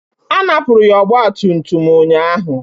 A napụrụ ya ọgbatumtum m ụnyahụ